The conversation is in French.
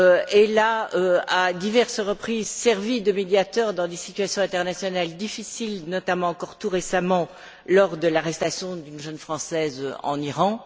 Elle a, à diverses reprises, servi de médiateur dans des situations internationales difficiles, notamment encore tout récemment lors de l'arrestation d'une jeune Française en Iran.